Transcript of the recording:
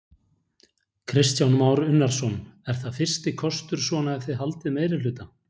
Kristján Már Unnarsson: Er það fyrsti kostur svona ef þið haldið meirihluta?